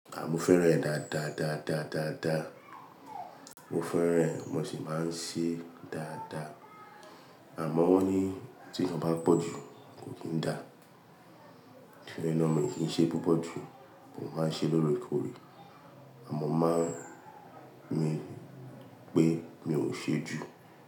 Àì mú fẹ́ran ẹ dáadáa, dáadáa, dáadáa. Mo fẹ́ran ẹ mo sì máa ń ṣe dáadáa. Àmọ́ wọ́n ní tí iyań bá n pọ̀ jù kò kí ń dá. To ri ẹ naa mii kì í n ṣe púpọ̀ jù, mo máa ń ṣe lóòrèkóòrè. Àmọ́ máa ń rí i pé mi ò ṣe jù.